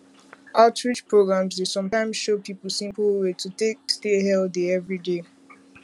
outreach programs dey sometimes show people simple simple way to take stay healthy every day